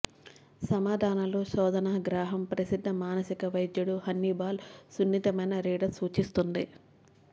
సమాధానాలు శోధన గ్రాహం ప్రసిద్ధ మానసిక వైద్యుడు హన్నిబాల్ సున్నితమైన రీడర్ సూచిస్తుంది